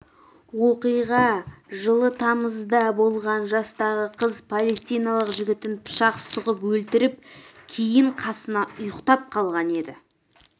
оқиға жылы тамызда болған жастағы қыз палестиналық жігітін пышақ сұғып өлтіріп кейін қасына ұйықтап қалған еді